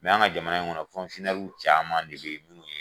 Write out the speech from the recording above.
Mɛ an ka jamana in kɔnɔ caman de bɛ yen nɔ.